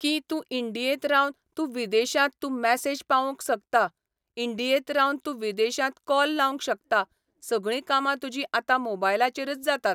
की तूं इंडियेंत रावन तूं विदेशांत तूं मॅसेज पावोवंक सकता, इंडियेंत रावन तूं विदेशांत कॉल लावंक शकता सगळीं कामां तुजीं आतां मोबायलाचेरच जातात